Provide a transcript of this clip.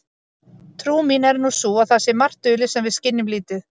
Trú mín er nú sú að það sé margt dulið sem við skynjum lítið.